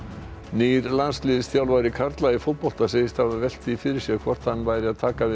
nýr landsliðsþjálfari karla í fótbolta segist hafa velt því fyrir sér hvort hann væri að taka við